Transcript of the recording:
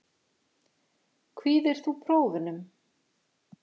Kvíðir þú prófunum?